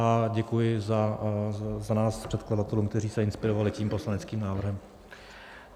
A děkuji za nás předkladatelům, kteří se inspirovali tím poslaneckým návrhem.